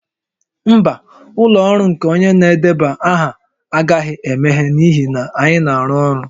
Mba, ụlọ ọrụ nke onye na-edeba aha agaghị emeghe n'ihi na anyị na-arụ ọrụ